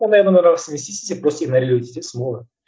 ондай адамдардың арасынан не істейсің сен просто игнорировать етесің болды